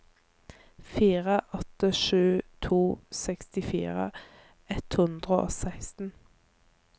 fire åtte sju to sekstifire ett hundre og seksten